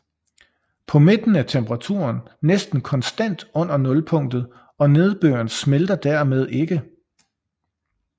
På midten er temperaturen næsten konstant under nulpunktet og nedbøren smelter dermed ikke